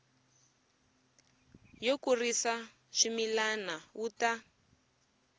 yo kurisa swimila wu ta